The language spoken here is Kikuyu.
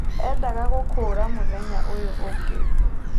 Endaga gũkũra mũthenya ũyu ũngĩ.